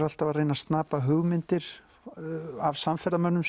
alltaf að reyna að snapa hugmyndir af samferðamönnum